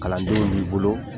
Kalandenw b'i bolo.